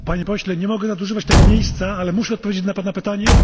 Panie Pośle, nie mogę nadużywać tego miejsca, ale muszę odpowiedzieć na Pana pytanie.